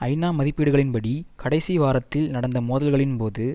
ஐநா மதிப்பீடுகளின் படி கடைசி வராத்தில் நடந்த மோதல்களின் போது